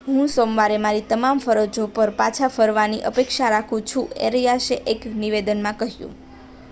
હું સોમવારે મારી તમામ ફરજો પર પાછા ફરવાની અપેક્ષા રાખું છું એરિયાસે એક નિવેદનમાં કહ્યું